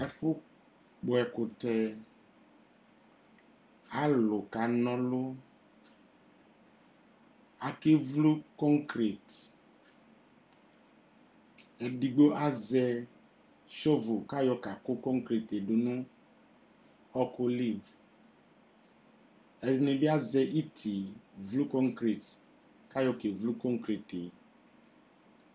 Ɛfu kɔsʋ ubuini lanutɛAlu kɔsʋ ubuini wani ayaADƲ Ugbatawla, kakɔ ɛkʋ du nɛlʋ, kakɔ ɛkʋ du nunukuƐkʋ yɔkɔsu ubuinie ,kɔlɛ masini dʋ atamiɛtuKatani dzakplo ayavʋ nedinie